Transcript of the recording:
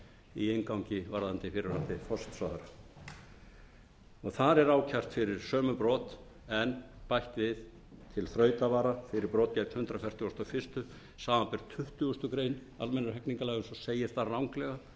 í inngangi varðandi fyrrverandi forsætisráðherra þar er ákært fyrir sömu brot en bætt við til þrautavara fyrir brot gegn hundrað fertugasta og fyrstu samanber tuttugustu greinar almennra hegningarlaga eins og segir þar